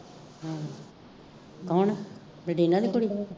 ਕੋਣ? ਨਡੀਨਾਂ ਦੀ ਕੁੜੀ